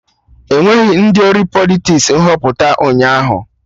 Enweghị ndị ori Politiks na Nhọpụta ụnyaahụ